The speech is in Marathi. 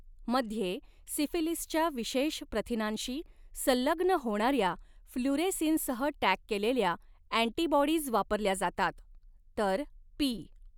मध्ये सिफिलीसच्या विशेष प्रथिनांशी संलग्न होणाऱ्या फ्लुरेसिनसह टॅग केलेल्या अँटीबॉडीज वापरल्या जातात, तर पी.